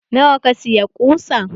Nawa ka siya ƙusan?